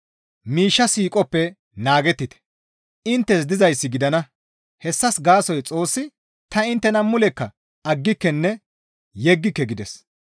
Miishsha siiqoppe naagettite; inttes dizayssi gidana; hessas gaasoykka Xoossi, «Ta inttena mulekka aggikenne yeggike» gides.